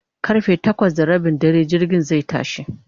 karfe takwas da Rabin dare jirgin zai tashi